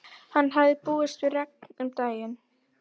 Hann hafði búist við regni um daginn.